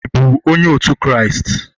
ị bụ onye otu Kraịst?